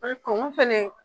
fɛnɛ